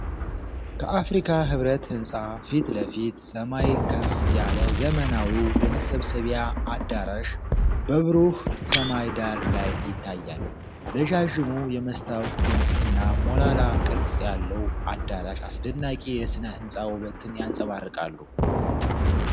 ከአፍሪካ ኅብረት ህንፃ ፊት ለፊት ሰማይ ከፍ ያለ ዘመናዊው የመሰብሰቢያ አዳራሽ በብሩህ ሰማይ ዳራ ላይ ይታያል። ረዣዥሙ የመስታወት ግንብ እና ሞላላ ቅርጽ ያለው አዳራሽ አስደናቂ የስነ ሕንፃ ውበትን ያንጸባርቃሉ።